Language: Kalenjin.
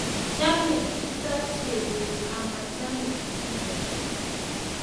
Chame kiptoo Jebet ,amachame iinet